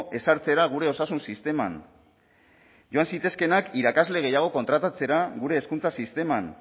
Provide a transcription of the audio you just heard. ezartzera gure osasun sisteman joan zitezkeenak irakasle gehiago kontratatzera gure hezkuntza sisteman